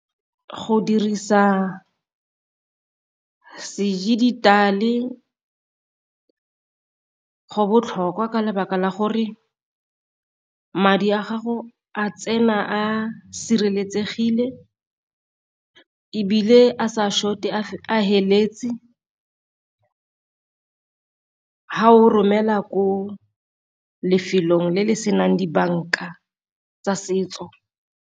Go dirisa se dijithale go botlhokwa ka lebaka la gore madi a gago a tsena a sireletsegile, ebile a sa short-e a feletse ga o romela ko lefelong le le senang dibanka tsa setso.